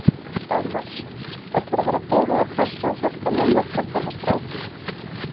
Dagmar: Ætlarðu að vera dugleg að passa og hjálpa mömmu og pabba með strákinn?